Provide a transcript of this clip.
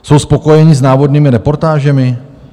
Jsou spokojeni s návodnými reportážemi?